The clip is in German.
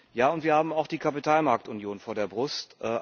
Ja, und wir haben auch die Kapitalmarktunion vor der Brust.